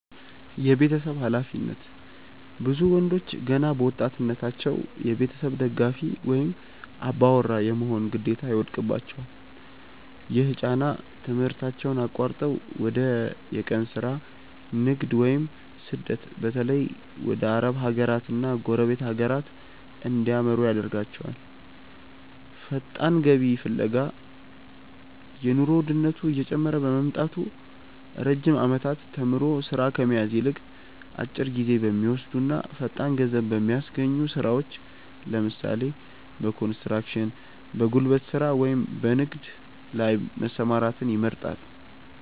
የቤተሰብ ኃላፊነት፦ ብዙ ወንዶች ገና በወጣትነታቸው የቤተሰብ ደጋፊ ወይም "አባወራ" የመሆን ግዴታ ይወድቅባቸዋል። ይህ ጫና ትምህርታቸውን አቋርጠው ወደ የቀን ሥራ፣ ንግድ ወይም ስደት (በተለይ ወደ አረብ ሀገራትና ጎረቤት ሀገራት) እንዲያመሩ ያደርጋቸዋል። ፈጣን ገቢ ፍለጋ፦ የኑሮ ውድነቱ እየጨመረ በመምጣቱ፣ ረጅም ዓመታት ተምሮ ሥራ ከመያዝ ይልቅ፣ አጭር ጊዜ በሚወስዱና ፈጣን ገንዘብ በሚያስገኙ ሥራዎች (ለምሳሌ፦ በኮንስትራክሽን፣ በጉልበት ሥራ ወይም በንግድ) ላይ መሰማራትን ይመርጣሉ።